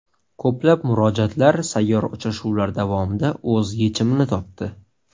Ko‘plab murojaatlar sayyor uchrashuvlar davomida o‘z yechimini topdi.